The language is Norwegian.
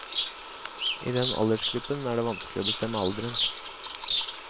I den aldersgruppen er det vanskelig å bestemme alderen.